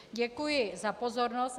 Děkuji za pozornost.